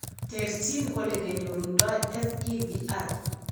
Terterchin olokenyorundo FEVR